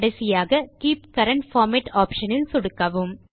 கடைசியாக keep current format option இல் சொடுக்கவும்